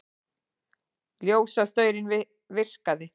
Ljósastaurinn virkaði